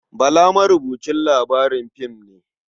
Bala marubucin labarin fim ne.